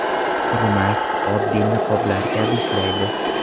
Kurumask oddiy niqoblar kabi ishlaydi.